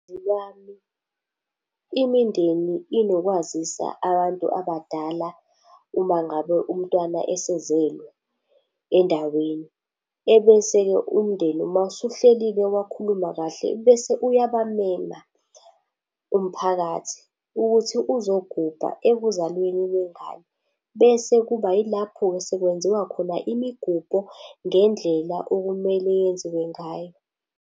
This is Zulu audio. lwami, imindeni inokwazisa abantu abadala uma ngabe umntwana esezelwe endaweni. Ebese-ke umndeni uma usuhlelile wakhuluma kahle, bese uyabamema umphakathi ukuthi uzogubha ekuzalweni kwengane. Bese kuba yilapho-ke sekwenziwa khona imigubho ngendlela okumele yenziwe ngayo.